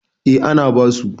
eh ana basu